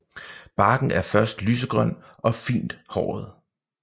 Barken er først lysegrøn og fint håret